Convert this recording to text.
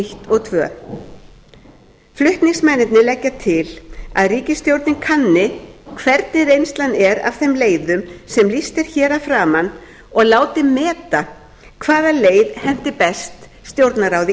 eins og önnur flutningsmenn leggja til að ríkisstjórnin kanni hvernig reynslan er af þeim leiðum sem lýst er hér að framan og láti meta hvaða leið henti best stjórnarráði